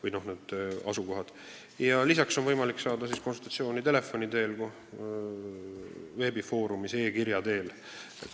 Ja konsultatsiooni saab ju ka telefoni teel, veebifoorumis, e-kirja teel.